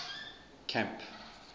camp